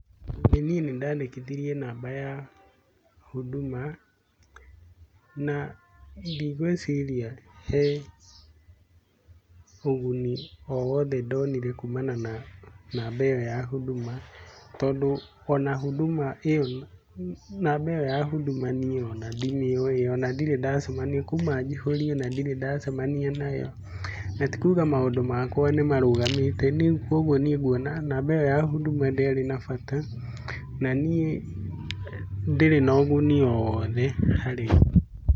Niĩ nĩ ndandĩkithirie namba ya huduma na ndigũĩciria he ũguni o wothe ndonire kumana na namba ĩyo ya huduma tondũ ona huduma namba ĩyo ya huduma niĩ ona ndimĩũĩ ona ndirĩ ndacemania nayo kuuma njiũrie. Kuuma njiũrie ndirĩ ndacemania nayo na ti kuuga maũndũ makwa nĩmarũgamĩte . Niĩ kũoguo nĩ nguona namba ĩyo ya huduma ndĩarĩ na bata na niĩ ndĩrĩ na ũguni o wothe harĩ niĩ.